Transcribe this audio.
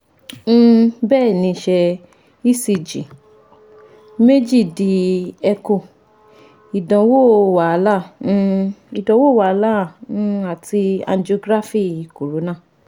um bẹẹni ṣe ecg meeji di echo idanwo wahala um idanwo wahala um ati angiography corona